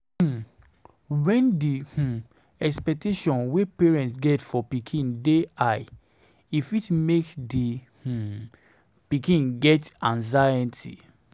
um When di um expectations wey parnets get for pikin dey high e fit make di um pikin get anxiety